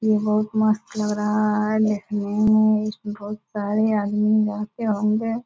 ये बुहत मस्त लग रहा है देखने मे | इसमे बुहत सारे आदमी रहते होंगे |